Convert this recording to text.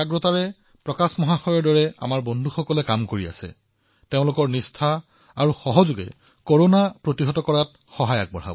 ভাই প্ৰকাশজীৰ দৰে আমাৰ সহকৰ্মীসকলে যিমানেই কাম কৰি আছে সিমানেই তেওঁলোকৰ সহযোগিতাই কৰোনাক পৰাস্ত কৰাত সহায় কৰিব